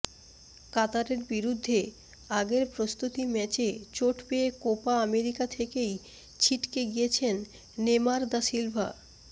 কাতারের বিরুদ্ধে আগের প্রস্তুতি ম্যাচে চোট পেয়ে কোপা আমেরিকা থেকেই ছিটকে গিয়েছেন নেমার দা সিলভা